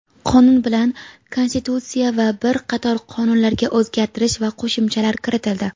Qonun bilan Konstitutsiya va bir qator qonunlarga o‘zgartirish va qo‘shimchalar kiritildi.